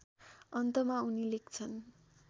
अन्तमा उनी लेख्छन्